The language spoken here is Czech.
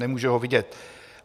Nemůže ho vidět.